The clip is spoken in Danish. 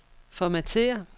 formatér